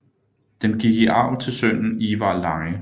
Den gik i arv til sønnen Ivar Lange